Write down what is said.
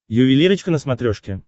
ювелирочка на смотрешке